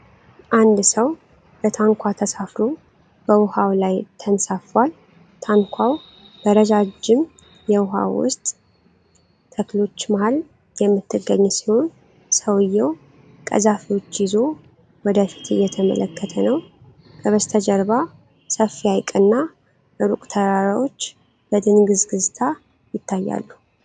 አንድ ሰው በታንኳ ተሳፍሮ በውሃው ላይ ተንሳፍፏል። ታንኳዋ በረዣዥም የውሃ ውስጥ ተክሎች መሃል የምትገኝ ሲሆን፣ ሰውየው ቀዛፊዎች ይዞ ወደፊት እየተመለከተ ነው። ከበስተጀርባ ሰፊ ሐይቅና ሩቅ ተራራዎች በድንግዝግዝታ ይታያሉ።